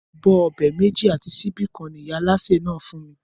Abó̩ o̩bè̩ méjì àti s̩íbí kan ni ìyá alásè náà fún mi